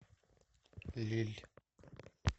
лилль